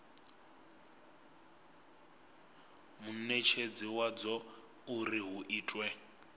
munetshedzi wadzo uri hu itwe